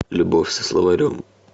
любовь со словарем